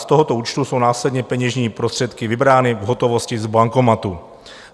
Z tohoto účtu jsou následně peněžní prostředky vybrány v hotovosti z bankomatu.